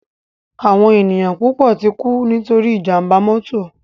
Áwòn éniyàn púpò tikú nitóri ijàmbá mòtó